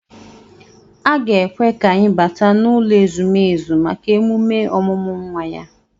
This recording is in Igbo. A ga-ekwe ka anyị bata n'ụlọ ezumezu maka emume ọmụmụ nwa ya